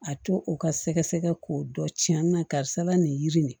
A to u ka sɛgɛsɛgɛ k'o dɔ tiɲɛna karisa la nin yiri ne